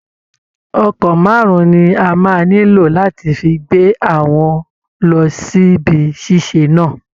Ọkọ̀ márùn-ún ni a máa nílò láti fi gbé àwọn lọ síbi ṣíṣe náà